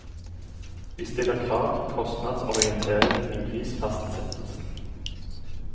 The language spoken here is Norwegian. Vi stiller krav til kostnadsorientering i prisfastsettelsen.